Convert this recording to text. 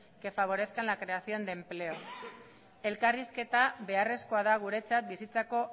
que favorezcan la creación de empleo elkarrizketa beharrezkoa da guretzat bizitzako